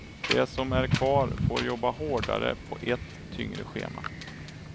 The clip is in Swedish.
De som är kvar får jobba hårdare på ett tyngre schema.